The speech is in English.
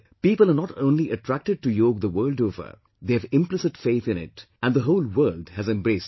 People are not only attracted to Yog the world over, they have implicit faith in it and the whole world has embraced it